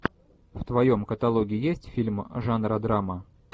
в твоем каталоге есть фильм жанра драма